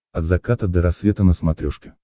от заката до рассвета на смотрешке